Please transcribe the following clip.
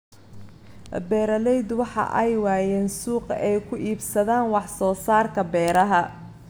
Beeraleydu waxa ay waayeen suuq ay ku iibsadaan wax soo saarka beeraha.